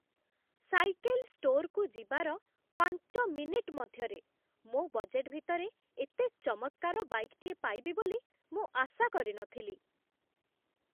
Cycle ଷ୍ଟୋର୍‌କୁ ଯିବାର ପାଞ୍ଚ ମିନିଟ୍ ମଧ୍ୟରେ, ମୋ ବଜେଟ୍ ଭିତରେ ଏତେ ଚମତ୍କାର ବାଇକ୍‌ଟିଏ ପାଇବି ବୋଲି ମୁଁ ଆଶା କରିନଥିଲି।